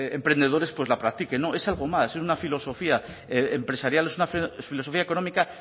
emprendedores pues la practiquen no es algo más es una filosofía empresarial es una filosofía económica